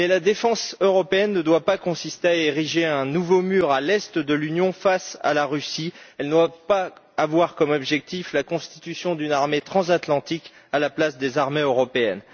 Mais la défense européenne ne doit pas consister à ériger un nouveau mur à l'est de l'Union face à la Russie, elle ne doit pas avoir comme objectif la constitution d'une armée transatlantique à la place des armées européennes.